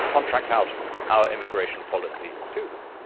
In fact, we contract out our immigration policy to them.